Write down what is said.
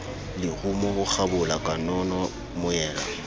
lerumo ho kgabola kanono moela